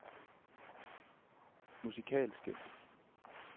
musikalske